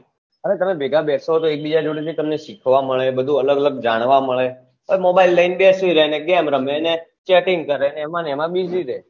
અરે તમે ભેગા બેસો તો એક બીજા જોડે થી તમને શીખવા મળે બધું અલગઅલગ જાણવા મળે પણ mobile લઇન બેસી રહો ને ગેમ રમેને chatting કરે એમાં ને એમાં busy રે